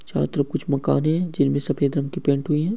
छात्र कुछ मकान है जिसमें सफेद रंग की पेंट हुई है।